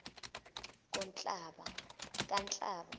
kanhlaba